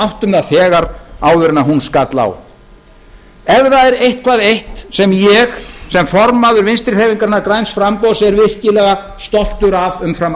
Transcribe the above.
áttum það þegar áður en hún skall á ef það er eitthvað eitt sem ég sem formaður vinstri hreyfingarinnar græns framboðs er virkilega stoltur af umfram